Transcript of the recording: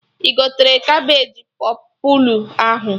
Ị gotere Cabeji pọpụlụ ahụ?